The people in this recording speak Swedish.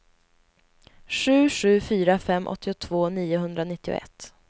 sju sju fyra fem åttiotvå niohundranittioett